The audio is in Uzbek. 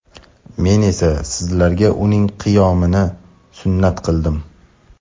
Men esa sizlarga uning qiyomini sunnat qildim.